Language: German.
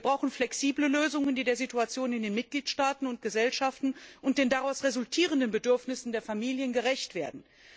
Wir brauchen flexible Lösungen, die der Situation in den Mitgliedstaaten und Gesellschaften und den daraus resultierenden Bedürfnissen der Familien gerecht werden.